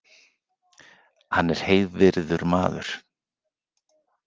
Hann er heiðvirður maður